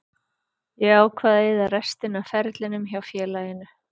Ég ákvað að eyða restinni af ferlinum hjá félaginu.